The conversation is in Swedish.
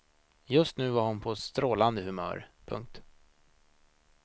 Just nu var hon på ett strålande humör. punkt